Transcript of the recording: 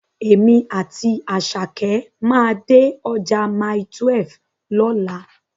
Èmi àti Àṣàkẹ́ máa dé ọjà Mile12 lọ́la.